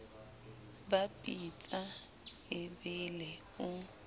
ba pitsa e bele o